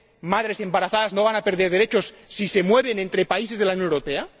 las madres embarazadas no van a perder derechos si se mueven entre países de la Unión Europea.